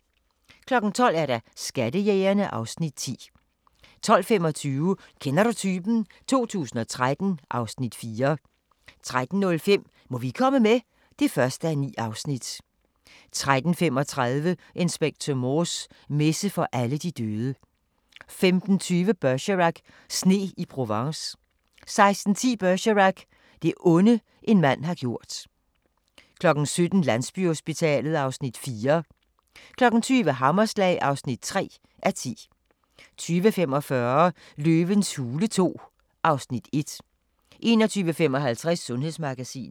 12:00: Skattejægerne (Afs. 10) 12:25: Kender du typen? 2013 (Afs. 4) 13:05: Må vi komme med? (1:9) 13:35: Inspector Morse: Messe for alle de døde 15:20: Bergerac: Sne i Provence 16:10: Bergerac: Det onde, en mand har gjort 17:00: Landsbyhospitalet (Afs. 4) 20:00: Hammerslag (3:10) 20:45: Løvens hule II (Afs. 1) 21:55: Sundhedsmagasinet